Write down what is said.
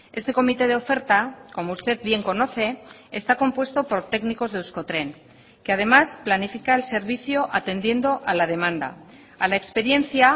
este comité de oferta como usted bien conoce está compuesto por técnicos de euskotren que además planifica el servicio atendiendo a la demanda a la experiencia